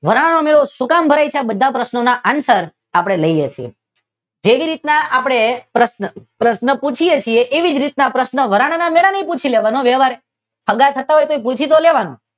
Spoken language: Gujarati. વરાણાનો મેળો શુકામ ભરાય છે આ બધા પ્રશ્નો ના આન્સર આપડે લઈ લઈએ છીએ. તેવી રીતે આપણે પ્રશ્ન પૂછી છીએ તેવી રીતના આપડે વરાણાના મેળાનો પણ પૂછી લેવાનો વ્યવહારે સગા થતાં હોય તો પણ પૂછી તો લેવાનો જ